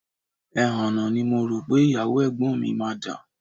Ẹhànnà ni mo rò pé ìyàwó ẹ̀gbọ́n mi máa dà